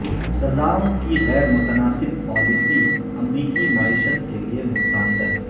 سزائوں کی غیر متناسب پالیسی امریکی معیشت کے لیے نقصاندہ